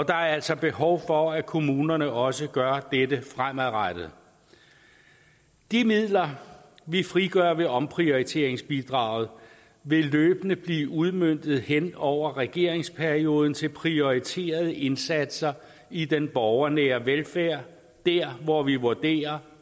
er altså behov for at kommunerne også gør dette fremadrettet de midler vi frigør ved omprioriteringsbidraget vil løbende blive udmøntet hen over regeringsperioden til prioriterede indsatser i den borgernære velfærd dér hvor vi vurderer